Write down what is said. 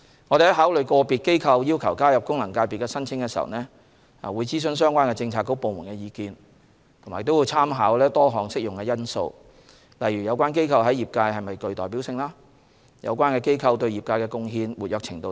我們在考慮個別機構要求加入功能界別的申請時，會諮詢相關政策局/部門的意見，並參考多項適用的因素，例如有關機構在業界是否具代表性、對業界的貢獻、活躍程度等。